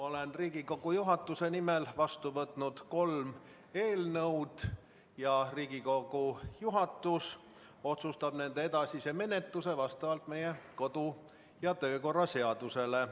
Olen Riigikogu juhatuse nimel vastu võtnud kolm eelnõu ja Riigikogu juhatus otsustab nende edasise menetluse vastavalt meie kodu- ja töökorra seadusele.